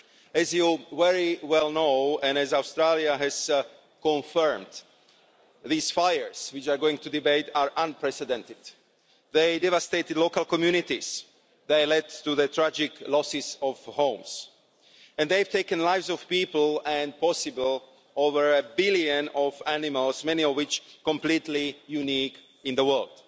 As you very well know and as Australia has confirmed these fires which we are going to debate are unprecedented. They have devastated local communities, they have led to the tragic loss of homes and they have taken the lives of people and, possibly, of over a billion animals, many of which are completely unique in the world.